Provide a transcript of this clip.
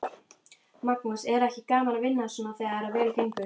Magnús: Er ekki gaman að vinna svona þegar vel gengur?